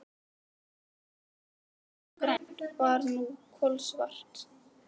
Allt sem áður var fagurgrænt var nú kolsvart.